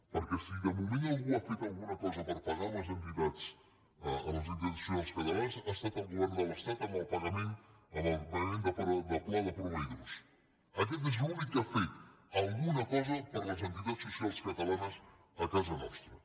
perquè si de moment algú ha fet alguna cosa per pagar a les entitats socials catalanes ha estat el govern de l’estat amb el pagament del pla de proveïdors aquest és l’únic que ha fet alguna cosa per les entitats socials catalanes a casa nostra